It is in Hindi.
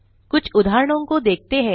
कुछ उदाहरणों को देखते हैं